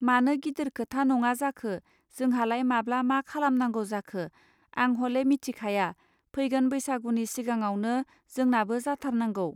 मानो गिदिर खोथा नङा जाखो जोंहालाय माब्ला मा खालामनांगौ जाखो आं हले मिथिखाया, फैगोन बैसागुनि सिगांआवनो जोंनाबो जाथारनांगौ